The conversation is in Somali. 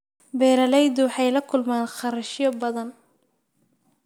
Beeraleydu waxay la kulmaan kharashyo badan.